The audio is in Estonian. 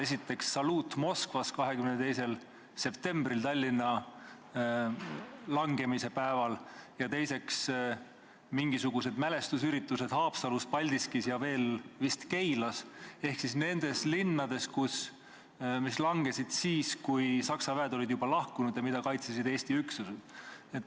Esiteks, saluut Moskvas 22. septembril, Tallinna langemise päeval, ja teiseks, mingisugused mälestusüritused Haapsalus, Paldiskis ja veel vist Keilas ehk nendes linnades, mis langesid siis, kui Saksa väed olid juba lahkunud, ja mida kaitsesid Eesti üksused.